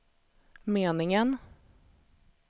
meningen